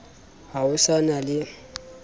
ha ho sa na le